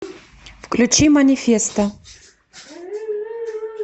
включи манифесто